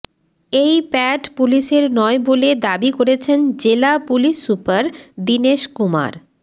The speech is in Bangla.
এই প্যাড পুলিশের নয় বলে দাবি করেছেন জেলা পুলিশ সুপার দীনেশ কুমার